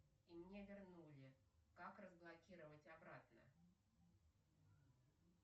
и мне вернули как разблокировать обратно